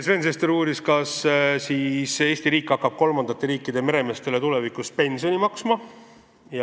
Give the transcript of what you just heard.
Sven Sester uuris, kas Eesti riik hakkab kolmandate riikide meremeestele tulevikus pensioni maksma.